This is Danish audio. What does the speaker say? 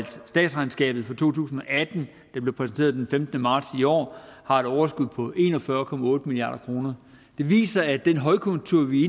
statsregnskabet for to tusind og atten det blev præsenteret den femtende marts i år har et overskud på en og fyrre milliard kroner det viser at den højkonjunktur vi